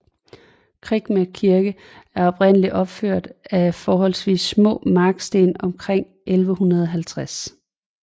Kregme Kirke er oprindeligt opført af forholdsvis små marksten omkring år 1150